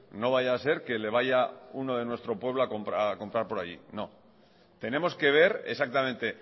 no vaya a ser que le vaya uno de nuestro pueblo a comprar por ahí no tenemos que ver exactamente